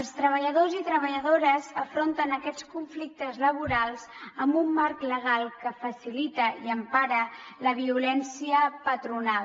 els treballadors i treballadores afronten aquests conflictes laborals amb un marc legal que facilita i empara la violència patronal